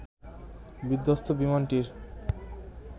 বিধ্বস্ত বিমানটির